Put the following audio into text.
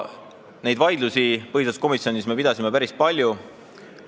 Vaidlusi pidasime me põhiseaduskomisjonis päris palju.